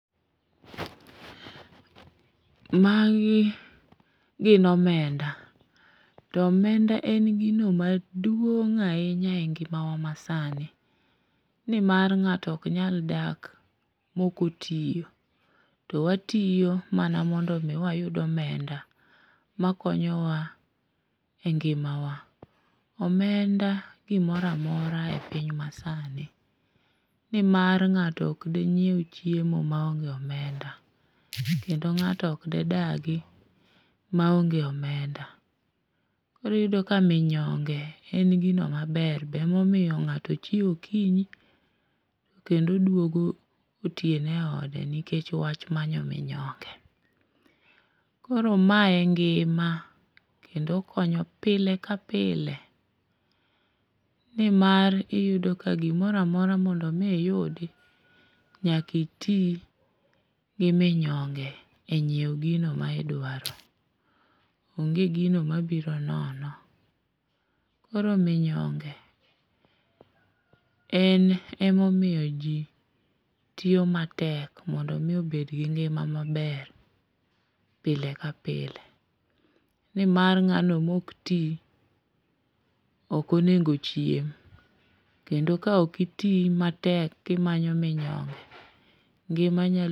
Magi gin omenda. To omenda en gino maduong' ahinya e ngima wa masani. Ni mar ng'ato ok nyalo dak mokotiyo. To watiyo mana mondo omi wayud omenda makonyowa e ngimawa. Omenda gimoro amora e piny masani. Ni mar ng'ato ok dinyiew chiemo ma onge omenda. Kendo ng'ato ok de dagi ma onge omenda. Koro iyudo ka minyonge en gino maber. Be ema omiyo ng'ato chiewo okinyi, kendo duogo otieno e ode nikech wach manyo minyonge. Koro mae e ngima kendo konyo pile ka pile. Ni mar iyudo ka gimoro amora mondo omi iyudi, nyaka iti gi minyonge e nyiewo gino ma idwaro gi gino mabiro nono. Koro minyonge, en ema omiyo ji tiyo matek mondo mi obed gi ngima maber pile ka pile. Ni mar ng'ano ma ok ti, ok onego ochiem. Kendo ka ok iti matek ki manyo minyonge, ngima nyalo